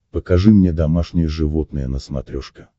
покажи мне домашние животные на смотрешке